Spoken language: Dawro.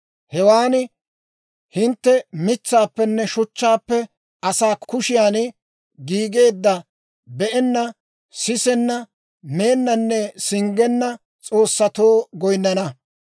Hewaan hintte mitsaappenne shuchchaappe asaa kushiyan giigeedda be'enna, sisenna, meennanne singgenna s'oossatoo goyinnana.